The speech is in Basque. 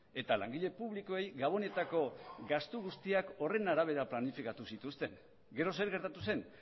eta langile publikoei gabonetako gastu guztiak horren arabera planifikatu zituzten gero zer gertatu zen